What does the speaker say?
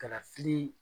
Kalafili